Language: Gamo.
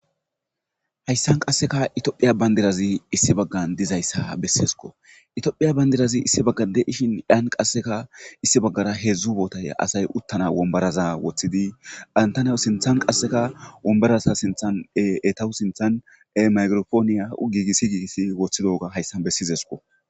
Hayssan qasseka itiophiya bandirazi issi baggan dizayssa besseesko itophiya bayndirazi issi bagga deishin iyan qasseka issi baggara heedzdzu bootay asay uttana wombaraza woththidi gantanawu sinthan qasseka wombarasa sinthan eetahu sinthan e mairopooniya giigissi giigiss woththidoga hayssan bessizesko